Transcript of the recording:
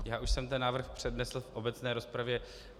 Já už jsem ten návrh přednesl v obecné rozpravě.